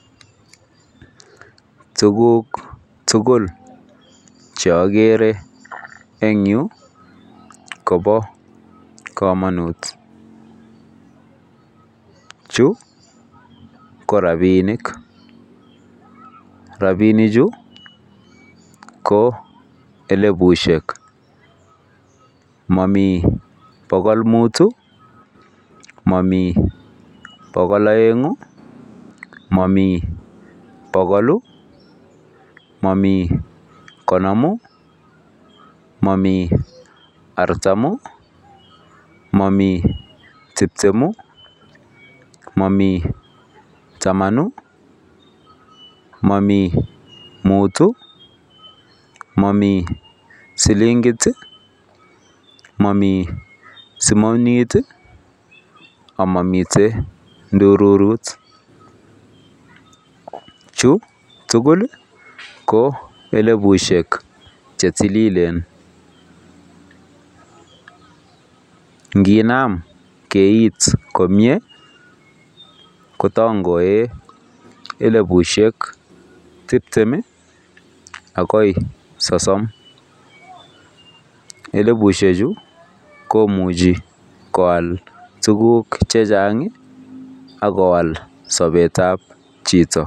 Tukuk tugul cheagere engyu, kobokamanut. Chu ko rabinik, rabinichu ko elipushek. Momi pokol muut, momi pokol oeng'u, momi pokolu, momi konomu, momi artamu, momi tiptemu, momi tamanu, momi muut, momi silinkit, momi simonit, amamitei ndururut. Chu tugul ko elipushek chetililen. Nginam keit komie kotangoe elipushek tiptem agoi sosom. elipushechu komuchei koal tukuk chechang akoal sobetab chito.